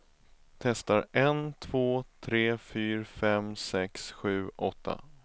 Testar en två tre fyra fem sex sju åtta.